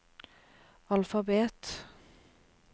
alfabet